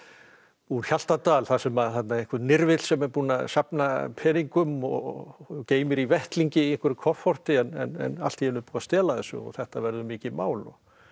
úr Hjaltadal þar sem einhver nirfill sem er búinn að safna peningum og geymir í vettlingi í einhverju kofforti en allt í einu er búið að stela þessu og þetta verður mikið mál